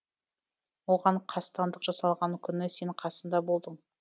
оған қастандық жасалған күні сен қасында болдың